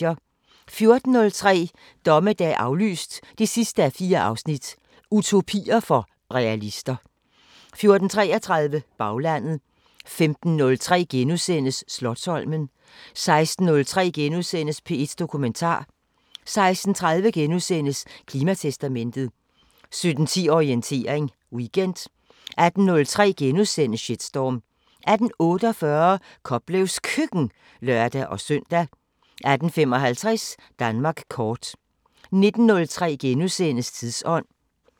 14:03: Dommedag aflyst 4:4 – Utopier for realister 14:33: Baglandet 15:03: Slotsholmen * 16:03: P1 Dokumentar * 16:30: Klimatestamentet * 17:10: Orientering Weekend 18:03: Shitstorm * 18:48: Koplevs Køkken (lør-søn) 18:55: Danmark kort 19:03: Tidsånd *